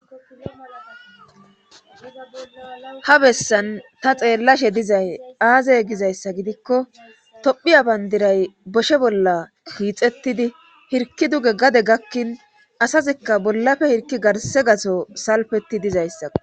Ha bessan ta xeellashe dizay aazey gizayssa gidikko tophiya bandiray boshe bolla hiixettidi hirki duge gade gakkin asazikka bollafe hirki garse gaso salfetti dizayssao.